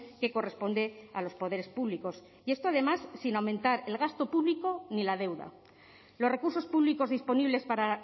que corresponde a los poderes públicos y esto además sin aumentar el gasto público ni la deuda los recursos públicos disponibles para